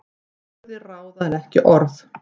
Gjörðir ráða en ekki orð